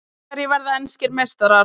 Hverjir verða enskir meistarar?